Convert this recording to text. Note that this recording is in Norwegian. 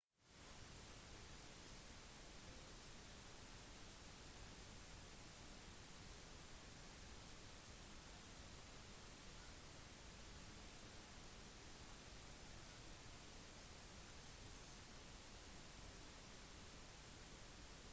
det produseres fortsatt i dag men enda viktigere er det at digitalkameraets bildesensorformater har arvet størrelsesforholdet til kameraet